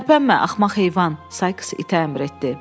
Tərpənmə axmaq heyvan, Sayks itə əmr etdi.